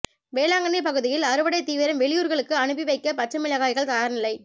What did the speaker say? வேளாங்கண்ணி பகுதியில் அறுவடை தீவிரம் வெளியூர்களுக்கு அனுப்பி வைக்க பச்சை மிளகாய்கள் தயார்நிலை